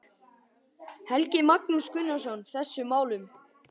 Helgi Magnús Gunnarsson: Þessum málum?